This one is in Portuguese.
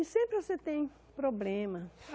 E sempre você tem problema.